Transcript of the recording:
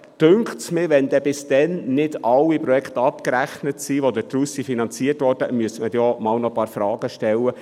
Mich dünkt, wenn bis dann nicht alle Projekte abgerechnet sind, die daraus finanziert wurden, müsste man einmal ein paar Fragen stellen.